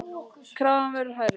Krafan verður hærri.